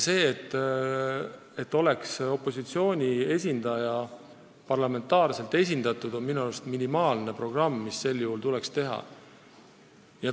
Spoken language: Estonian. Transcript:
See, et haigekassa nõukogus oleks parlament ka opositsiooni esindaja näol esindatud, on minu arust minimaalne, mis meil tuleks tagada.